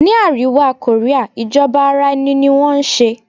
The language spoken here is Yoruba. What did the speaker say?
Ni àríwá Korea ìjọba ara ẹni ní wọn ń ṣe.